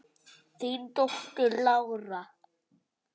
Þín dóttir, Lára.